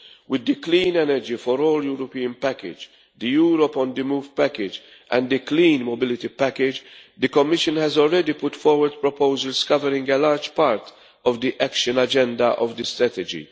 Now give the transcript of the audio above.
With the Clean Energy for all Europeans package, the Europe on the Move package and the Clean Mobility package, the Commission has already put forward proposals covering a large part of the action agenda of this strategy.